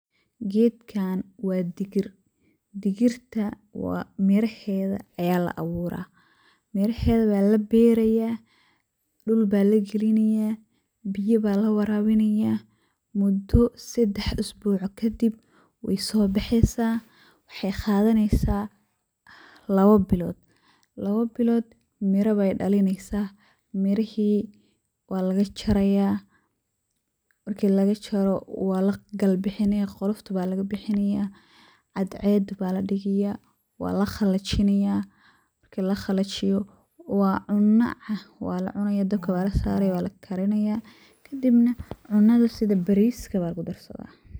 Gedkaan waa digir, digirta waa miraheeda ayaa la awuraa, miraheeda waa la berayaa ,dhul baa la galinayaa ,biya baa la warabinayaa muddo seddex isbuuc kadib wey soo baxeysaa wxey qadaneysaa lawa bilood. Lawa bilood mira bey dhalineysaa, mirahii waa laga jarayaa, marki laga jaro waa la gal bixinayaa ,qoqlofta baa laga bixinayaa, cadceedu baa la dhigayaa, waa la qallajinayaa ,marki la qallajiyo waa cunna ah, waa la cunayaa ,dabka baa la sarayaa, waa la karinayaa, kadibna cunnada sida bariska baa lagu darsadaa.